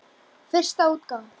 Fyrsta útgáfa.